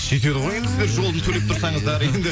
сүйтеді ғой енді сіздер жолын төлеп тұрсаңыздар енді